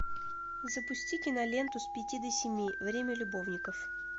запусти киноленту с пяти до семи время любовников